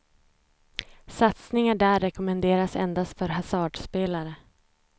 Satsningar där rekommenderas endast för hasardspelare.